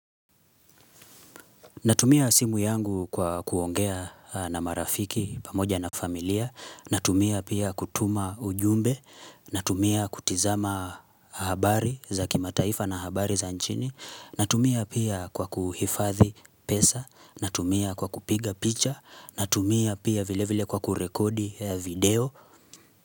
Natumia simu yangu kwa kuongea na marafiki pamoja na familia, natumia pia kutuma ujumbe, natumia kutizama habari za kimataifa na habari za nchini, natumia pia kwa kuhifadhi pesa, natumia kwa kupiga picha, natumia pia vile vile kwa kurekodi video.